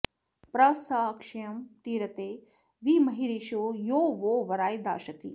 प्र स क्षयं तिरते वि महीरिषो यो वो वराय दाशति